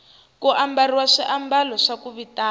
ku ambariwa swiamalo swa ku vitana